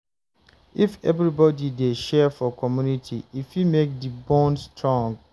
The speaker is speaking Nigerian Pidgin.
If everybody dey share for community, e fit make di bond strong